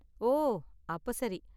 ஓ, அப்ப சரி.